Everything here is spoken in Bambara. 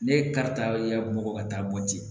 Ne karita bɔgɔ ka taa bɔ ten